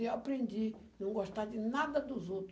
E eu aprendi a não gostar de nada dos outro.